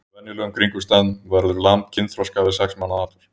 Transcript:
Undir venjulegum kringumstæðum verður lamb kynþroska við sex mánaða aldur.